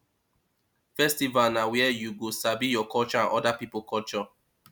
festival na where you go sabi your culture and oda pipo culture